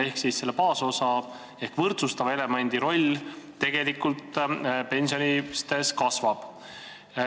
Ehk siis selle baasosa ehk võrdsustava elemendi osakaal pensionites tegelikult kasvab.